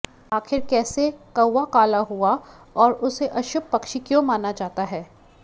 आखिर कैसे कौआ काला हुआ और उसे अशुभ पक्षी क्यों माना जाता है